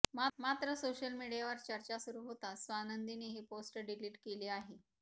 मात्र सोशल मीडियावर चर्चा सुरु होताच स्वानंदीने ही पोस्ट डिलीट केली आहे